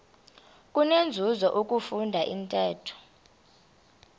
kunenzuzo ukufunda intetho